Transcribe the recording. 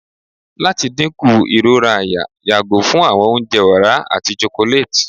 lati dinku irora àyà yago fun awọn ounjẹ ọra ati chocolate